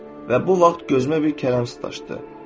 Və bu vaxt gözümə bir kələm tuş gəldi.